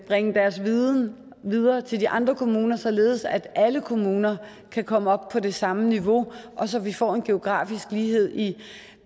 bringer deres viden videre til de andre kommuner således at alle kommuner kan komme op på det samme niveau og så vi får en geografisk lighed i